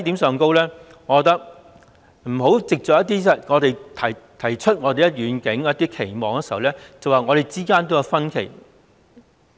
政府不應基於我們提出遠景和期望，便指我們之間也有分歧。